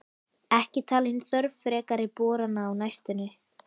Ekki talin þörf frekari borana á næstunni.